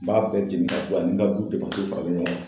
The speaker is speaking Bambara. N b'a bɛɛ jeni ka bɔ ani n ka du faralen ɲɔgɔn kan.